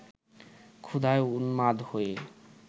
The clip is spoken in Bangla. ক্ষুধায় উন্মাদ হয়ে